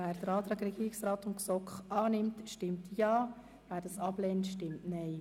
Wer den Antrag Regierungsrat/GSoK-Mehrheit annimmt, stimmt Ja, wer diesen ablehnt, stimmt Nein.